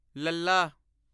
ਲ਼ੱਲ਼ਾ